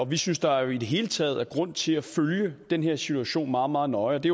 vi synes der i det hele taget er grund til at følge den her situation meget meget nøje det